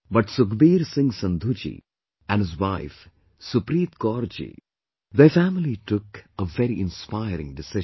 But Sukhbir Singh Sandhu ji and his wife Supreet Kaur ji, their family took a very inspiring decision